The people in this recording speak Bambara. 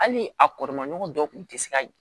Hali a kɔrɔma ɲɔgɔn dɔw tun tɛ se ka ye